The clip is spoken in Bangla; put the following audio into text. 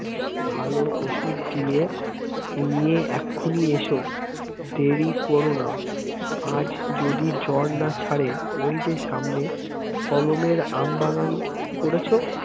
ভালো ওষুধ দিয়ে নিয়ে এক্ষুনি এসো দেরি করো না আজ যদি জ্বর না ছাড়ে ওই যে সামনে কলমের আমবাগান করেছো